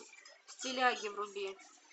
стиляги вруби